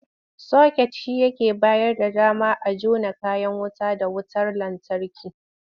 Soket shi yake bayar da dama a jona kayan wuta da wutar lantarki.